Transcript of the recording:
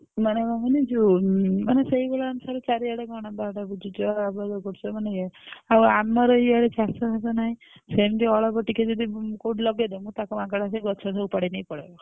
ମାନେ କଣ କହନି ଯୋଉ ଉମ୍ ସେଇ ଭଳିଆ ଅନୁସାରେ ଚାରିଆଡେ କଣ ବାଡ ବୁଝୁଛ ଆବଦ୍ଧ କରୁଛ ମାନେ ଏଇ ଆଉ ଆମର ଇଆଡେ ଚାଷ ବାସ ନାହିଁ ସେମତି ଅଳ୍ପ ଟିକେ ଯଦି କୋଉଠି ଲଗେଇ ଦେବେ ତାକୁ ମାଙ୍କଡ ଆସି ଗଛ ସବୁ ଉପାଡି ନେଇ ପଳେଇବ।